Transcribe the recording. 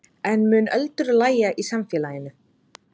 En mun öldur lægja í samfélaginu?